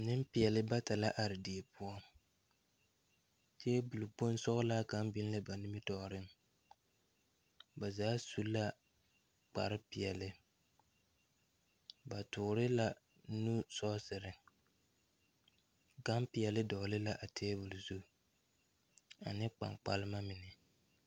Neŋpeɛɛle bata la are die poɔ tabol kpoŋ sɔglaa kaŋ biŋ la ba nimitooreŋ ba zaa su la kpare peɛɛle ba toore la nu sɔɔserre gan peɛɛle dɔgle la a tabol zu ane kpaŋkpalma mine.